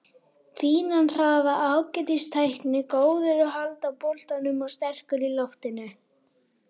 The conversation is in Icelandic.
Fínan hraða, ágætis tækni, góður að halda boltanum og sterkur í loftinu.